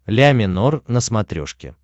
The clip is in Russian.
ля минор на смотрешке